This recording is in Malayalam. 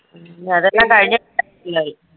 ഉം അതെല്ലാം കഴിഞ്ഞിട്ട്